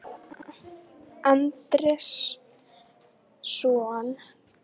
Andersson til starfa hjá AG